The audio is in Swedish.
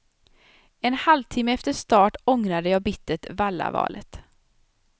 En halvtimme efter start ångrade jag bittert vallavalet.